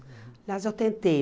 Aliás, eu tentei.